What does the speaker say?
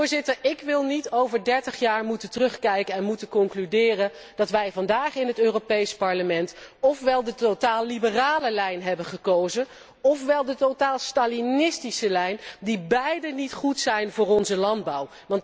Voorzitter, ik wil niet over dertig jaar moeten terugkijken en moeten concluderen dat wij vandaag in het Europees Parlement ófwel de totaal liberale lijn hebben gekozen, ófwel de totaal stalinistische lijn, die beide niet goed zijn voor onze landbouw.